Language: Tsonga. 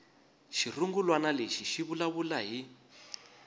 xirungulwana lexi xi vulavula hi